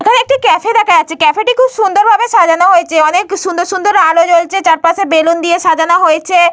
এখানে একটি ক্যাফে দেখা যাচ্ছে। ক্যাফে -টি খুব সুন্দর ভাবে সাজানো হয়েছে। অনেক সুন্দর সুন্দর আলো জ্বলছে চারপাশে বেলুন দিয়ে সাজানো হয়েছে।